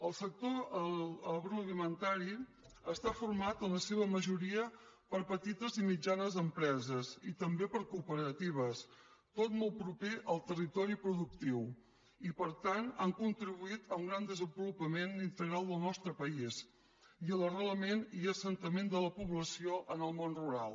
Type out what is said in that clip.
el sector agroalimentari està format en la seva majoria per petites i mitjanes empreses i també per cooperatives tot molt proper al territori productiu i per tant han contribuït a un gran desenvolupament integral del nostre país i a l’arrelament i assentament de la població en el món rural